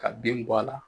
Ka bin bɔ a la